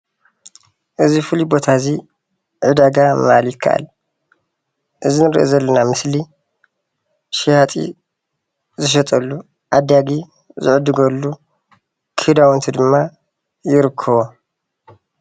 እዚ ፍሉይ ቦታ እዚ ዕዳጋ ምባል ይካኣል፡፡ እዚ እንሪኦ ዘለና ምስሊ ሸያጢ ዝሸጠሉ ዓዳጊ ዝዕድገሉ ክዳውንቲ ድማ ይርከቦም፡፡